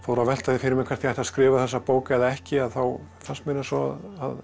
að velta því fyrir mér hvort ég ætti að skrifa þessa bók eða ekki að þá fannst mér eins og